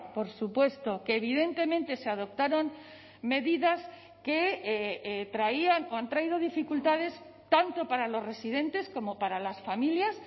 por supuesto que evidentemente se adoptaron medidas que traían o han traído dificultades tanto para los residentes como para las familias